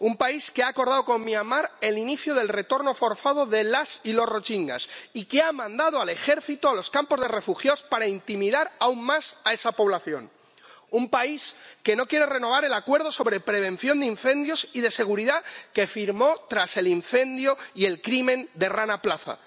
Un país que ha acordado con Myanmar Birmania el inicio del retorno forzado de las y los rohinyás y que ha mandado al ejército a los campos de refugiados para intimidar aún más a esa población. Un país que no quiere renovar el Acuerdo sobre Prevención de Incendios y Seguridad que firmó tras el incendio y el crimen del Rana Plaza.